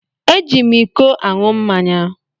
Eji m ịkọ aṅụ mmáñyá.